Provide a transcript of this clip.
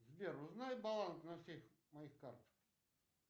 сбер узнай баланс на всех моих картах